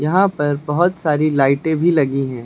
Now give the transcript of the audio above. यहाँ पर बहुत सारी लाइटें भी लगी हैं।